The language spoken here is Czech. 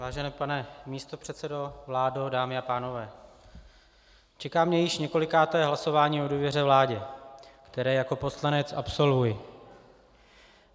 Vážený pane místopředsedo, vládo, dámy a pánové, čeká mě již několikáté hlasování o důvěře vládě, které jako poslanec absolvuji.